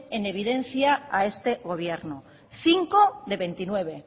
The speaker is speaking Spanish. en evidencia a este gobierno cinco de veintinueve